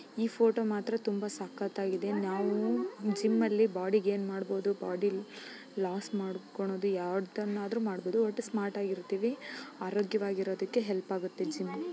ಈ ಫೋಟೋ ಮಾತ್ರ ತುಂಬಾ ಸಕತ್ತಾಗಿದೆ. ನಾವು ಜಿಮ್ ಅಲ್ಲಿ ಬಾಡಿ ಗೆ ಏನ್ ಮಾಡ್ಬೋದು. ಬೊಡಿ ಲಾಸ್ ಮಾಡಿಕೊಂಡು ಯಾವುದನ್ನಾದರೂ ಮಾಡಬಹುದು. ಸ್ಮಾರ್ಟ್ ಆಗಿ ಇರ್ತಿವಿ ಆರೋಗ್ಯವಾಗಿ ಇರೋದಿಕ್ಕೆ ಹೆಲ್ಪ್ ಆಗುತ್ತೆ ಜಿಮ್ .